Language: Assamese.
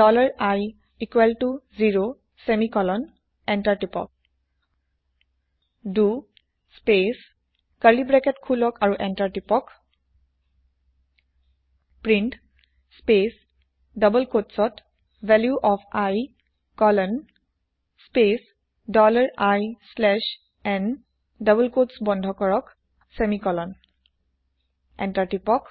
dollar i equals to zero semicolon enter টিপক দ স্পেচ কাৰ্লি ব্ৰেকেত খুলক আৰু এন্তাৰ টাইপ কৰক প্ৰিণ্ট স্পেচ ডবল কোটচতValue of i colon space dollar i slash n double quote বন্ধ কৰক ছেমিকলন এন্তাৰ টিপক